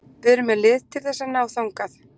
Við erum með lið til þess að ná þangað.